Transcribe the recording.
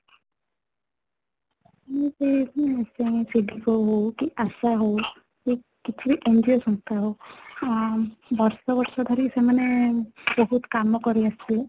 ସେ ହଉ କି ଆଶା ହଉ କି କିଛି ବି NGO ସଂସ୍ଥା ହଉ ଆଁ ବର୍ଷ ବର୍ଷ ଧରି ସେମାନେ ବହୁତ କାମ କରିଆସିଥିବେ